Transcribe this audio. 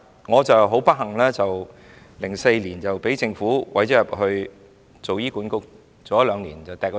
我很不幸 ，2004 年被政府委任入醫管局，但兩年後便停止委任。